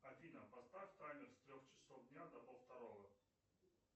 афина поставь таймер с трех часов дня до пол второго